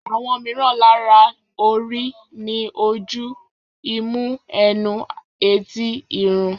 Àwọn mìíràn lára orí ni ojú, imú, ẹnu, etí, irun